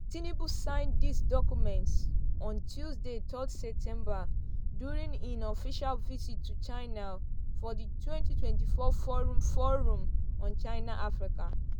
tinubu sign dis documents on tuesday third september during im official visit to china for di twenty twenty four forum forum on china-africa.